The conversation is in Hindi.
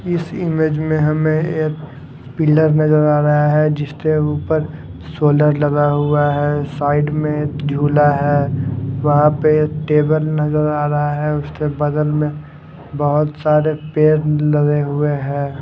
इस इमेज में हमें एक पिलर नजर आ रहा है जिसके ऊपर सोलर लगा हुआ हैं साइड में झूला है वहां पे ये टेबल नजर आ रहा हैं उसके बगल में बहुत सारे पेड़ लगे हुए है।